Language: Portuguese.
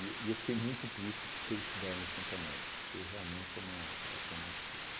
eu fiquei muito triste por ter estudado no Santo Américo, porque realmente é uma geração mais triste.